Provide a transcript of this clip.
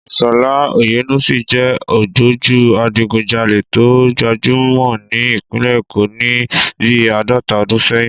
Ìshọ̀lá Oyènúsì jẹ́ ògbójú adigunjalè tó gbajúmọ̀ ní Ìpínlẹ̀ Èkó ní bí àádọ́ta ọdún sẹ́yìn